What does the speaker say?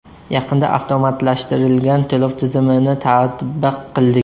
Yaqinda avtomatlashtirilgan to‘lov tizimini tatbiq qildik.